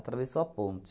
Atravessou a ponte.